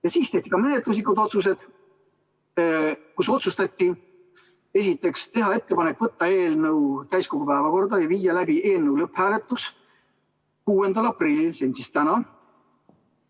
Ja siis tehti ka menetluslikud otsused, kus otsustati teha ettepanek võtta eelnõu täiskogu päevakorda ja viia läbi eelnõu lõpphääletus 6. aprillil ehk täna.